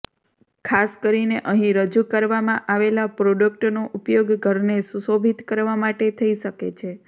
ખાસ કરીને અહીં રજૂ કરવામાં આવેલા પ્રોડક્ટનો ઉપયોગ ઘરને સુશોભિત કરવા માટે થઇ શકે છે